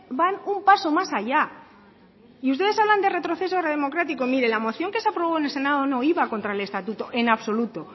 van un paso más allá y ustedes hablan de retroceso democrático mire la moción que se aprobó en el senado no iba contra el estatuto en absoluto